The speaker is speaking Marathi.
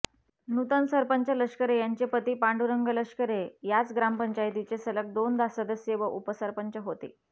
नूतन सरपंच लष्करे यांचे पती पांडुरंग लष्करे याच ग्रामपंचायतीचे सलग दोनदा सदस्य व उपसरपंच होते